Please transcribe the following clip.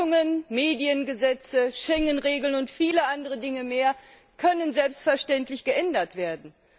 Verfassungen, Mediengesetze, Schengen Regeln und viele andere Dinge mehr können selbstverständlich geändert werden.